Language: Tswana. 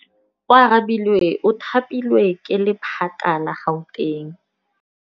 Oarabile o thapilwe ke lephata la Gauteng.